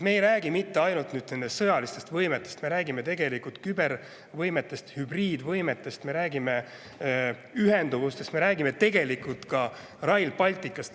Me ei räägi mitte ainult sõjalistest võimetest, vaid ka kübervõimetest, hübriidvõimetest, me räägime ühenduvusest, me räägime tegelikult ka Rail Balticust.